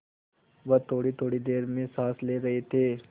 वह थोड़ीथोड़ी देर में साँस ले रहे थे